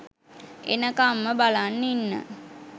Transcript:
එනකම්ම බලන් ඉන්න